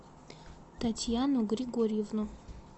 татьяну григорьевну